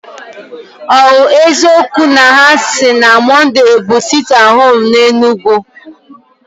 O eziokwu na hasi na Mọnday bu sitie at home na Enugu?